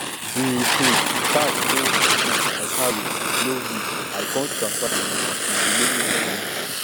di um cash wey um i carry no um reach i come transfer di remaining moni